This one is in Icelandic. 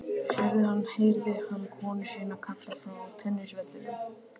Sérðu hann? heyrði hann konu sína kalla frá tennisvellinum.